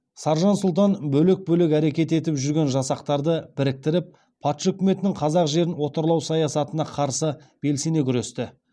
саржан сұлтан бөлек бөлек әрекет етіп жүрген жасақтарды біріктіріп патша өкіметінің қазақ жерін отарлау саясатына қарсы белсене күресті